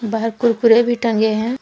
बाहर कुरकुरे भी टंगे हैं।